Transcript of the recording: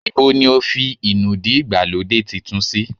Ibo ní o fi inúdí ìgbàlódé titun sì?